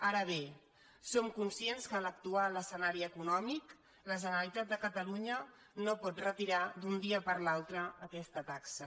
ara bé som conscients que en l’actu·al escenari econòmic la generalitat de catalunya no pot retirar d’un dia per l’altre aquesta taxa